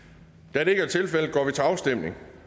da det ikke er tilfældet går vi til afstemning